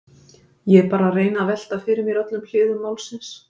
Ég er bara að reyna að velta fyrir mér öllum hliðum málsins.